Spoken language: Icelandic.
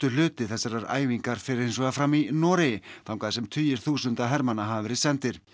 hluti æfingarinnar fer hins vegar fram í Noregi þangað sem tugir þúsunda hermanna hafa verið sendir